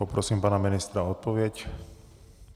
Poprosím pana ministra o odpověď.